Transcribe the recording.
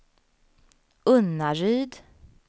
Unnaryd